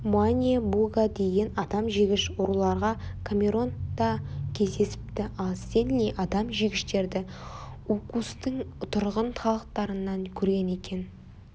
муэне-бугга деген адам жегіш руларға камерон да кездесіпті ал стенли адам жегіштерді оукустың тұрғын халықтарынан көрген екен